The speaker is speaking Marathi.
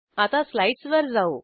आता स्लाईडसवर जाऊ